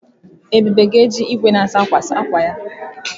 Ebube ga eji igwe na-asa ákwà saa ákwà ya.